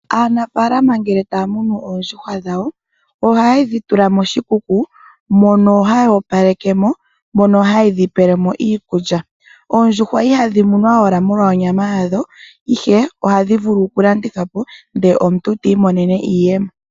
Aanafalama ngele taya munu oondjuhwa dhawo, ohaye dhi tula moshikuku, mono haya opaleke mo nohaye dhi pele mo iikulya. Oondjuhwa ihadhi munwa owala molwa onyama yadho, ihe ohadhi vulu okulandithwa po ndele omuntu ti imonene iiyemo.